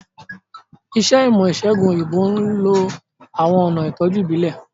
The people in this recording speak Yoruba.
Iṣẹ́ ìmọ̀-ìṣẹ̀gùn òyìnbó ń lo àwọn ọ̀nà ìtọ́jú ìbílẹ̀.